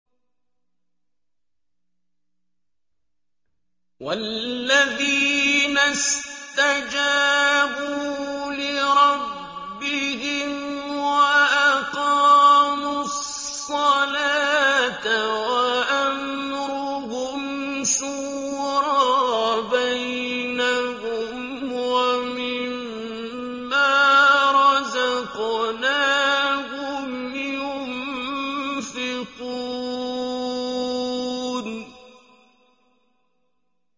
وَالَّذِينَ اسْتَجَابُوا لِرَبِّهِمْ وَأَقَامُوا الصَّلَاةَ وَأَمْرُهُمْ شُورَىٰ بَيْنَهُمْ وَمِمَّا رَزَقْنَاهُمْ يُنفِقُونَ